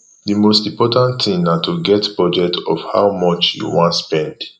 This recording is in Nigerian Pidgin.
di most important thing na to get budget of how much you wan spend